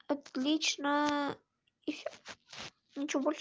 отлично и всё ничего больше